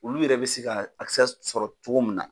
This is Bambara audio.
Olu yɛrɛ be se ka akisɛ sɔrɔ cogo min na